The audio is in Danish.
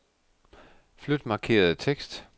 Flyt markerede tekst.